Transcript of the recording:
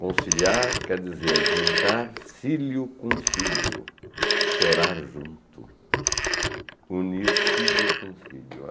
Conciliar quer dizer juntar cílio com cílio, chorar junto, unir cílio com cílio.